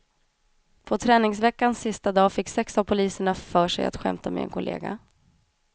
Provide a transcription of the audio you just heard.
På träningsveckans sista dag fick sex av poliserna för sig att skämta med en kollega.